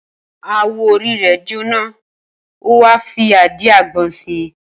Awọ orí rẹ̀ jóná, ó wá fi àdíàgbọn si.